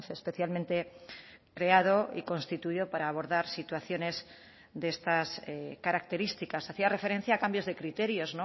especialmente creado y constituido para abordar situaciones de estas características hacía referencia a cambios de criterios